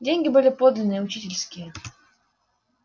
деньги были подлинные учительские